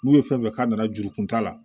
N'u ye fɛn fɛn k'a nana juru kunta la